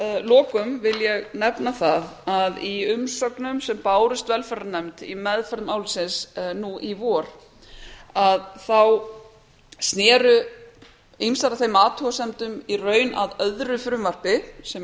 að lokum vil ég nefna að í umsögnum sem bárust velferðarnefnd í meðferð málsins nú í vor sneru ýmsar athugasemdir í raun að öðru frumvarpi sem